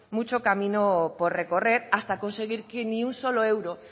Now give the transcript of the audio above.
mucho camino por recorrer hasta conseguir que ni un solo euro